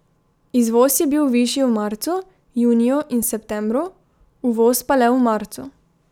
Izvoz je bil višji v marcu, juniju in septembru, uvoz pa le v marcu.